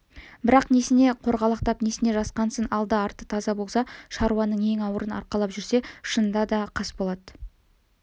бірақ несіне қорғалақтап несіне жасқансын алды-арты таза болса шаруаның ең ауырын арқалап жүрсе шынында да қасболат